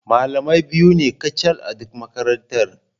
Malamai biyu ne kacal a duk makarantar.